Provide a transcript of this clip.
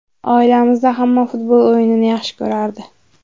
Oilamizda hamma futbol o‘yinini yaxshi ko‘rardi.